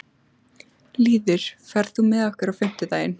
Lýður, ferð þú með okkur á fimmtudaginn?